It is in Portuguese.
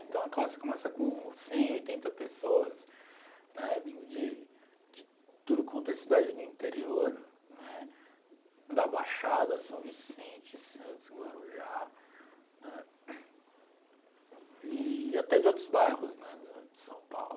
Então a classe começa com cem, oitenta pessoas, né, vindo de de tudo quanto é cidade no interior, né, da Baixada, São Vicente, Santos, Guarujá, né, e até de outros bairros né do de São Paulo.